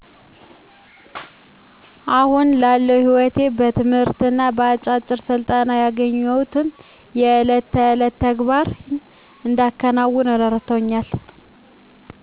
አሁን ላለው ሕይወቴ በትምህርትና በአጫጭር ስልጠና ያገኘኋቸው ለዕለት ከዕለት ተግባሬን እንዳከናውን እረድተውኛል